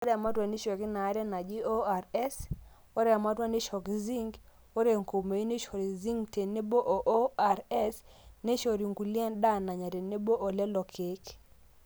ore ematua neishooki inaare naji ORS, ore ematua neishooki zinc, ore enkumoi neishori zinc tenebo o ORS, neishori inkulie endaa nanya tenebo olelo keek